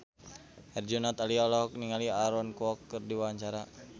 Herjunot Ali olohok ningali Aaron Kwok keur diwawancara